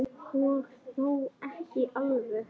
Og þó ekki alveg.